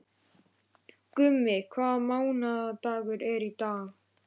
Gummi, hvaða mánaðardagur er í dag?